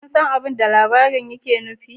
Kun san abin da labarin yake nufi